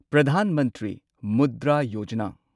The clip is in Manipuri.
ꯄ꯭ꯔꯙꯥꯟ ꯃꯟꯇ꯭ꯔꯤ ꯃꯨꯗ꯭ꯔꯥ ꯌꯣꯖꯥꯅꯥ